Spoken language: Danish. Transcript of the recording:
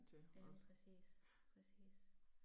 Ja præcis, præcis